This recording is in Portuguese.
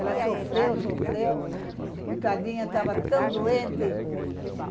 Ela sofreu, sofreu, coitadinha, estava tão doente.